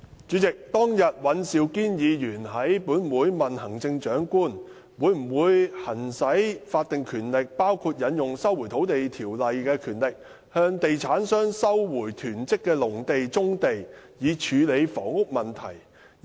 主席，尹兆堅議員當天在本會問行政長官，會否行使法定權力，包括引用《收回土地條例》下的權力，向地產商收回囤積的農地和棕地，以處理房屋問題。